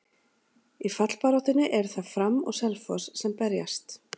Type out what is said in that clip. Í fallbaráttunni eru það Fram og Selfoss sem berjast.